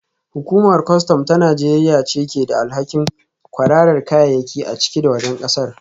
Hukumar kwastam ta Najeriya ce ke da alhakin kwararar kayayyaki a ciki da wajen kasar